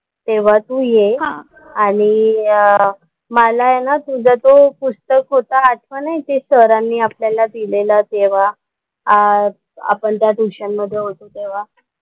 तेव्हा तू ये आणि अं मला आहे ना तुझा तो पुस्तक होता आठवण आहे ते सरांनी आपल्याला दिलेला तेव्हा अं आपण त्या ट्युशनमध्ये होतो तेव्हा.